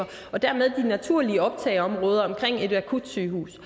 og dermed de naturlige optageområder omkring et akutsygehus